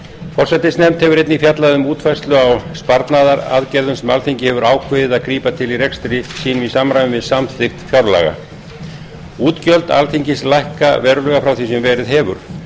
forsætisnefnd hefur einnig fjallað um útfærslu á sparnaðaraðgerðum sem alþingi hefur ákveðið að grípa til í rekstri sínum í samræmi við samþykkt fjárlaga útgjöld alþingis lækka verulega frá því sem verið hefur